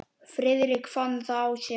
Friðrik fann það á sér.